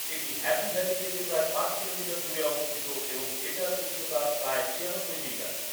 এটি Happy Valley থেকে প্রায় পাঁচ কিলোমিটার দূরে অবস্থিত এবং এটার উচ্চতা প্রায় ছিয়ানব্বই মিটার।